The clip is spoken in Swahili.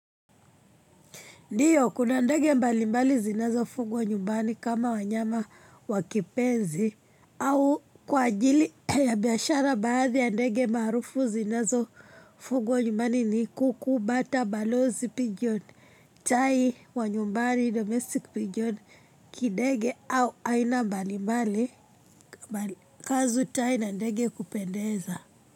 Ndiyo, kuna ndege mbalimbali zinazofugwa nyumbani kama wanyama wa kipenzi au kwa ajili ya biashara baadhi ya ndege maarufu zinazo fugwa nyumbani ni kuku, bata, balozi, pigeon, tai wa nyumbani, domestic pigeon, kidege au aina mbalimbali za ndege kupendeza.